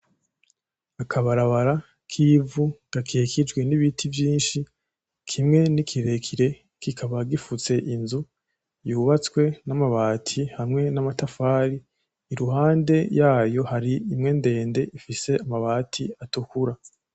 Akabarabara k’ivu gakikijwe n’ibiti vyinshi, kimwe ni kirekire kikaba gifutse inzu yubatswe n’amabati hamwe n’amatafari, iruhande yaho hari imwe ndende ifise amabati atukura.